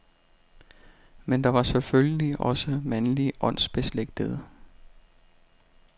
Men der var selvfølgelig også mandlige åndsbeslægtede.